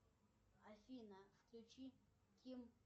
афина включи ким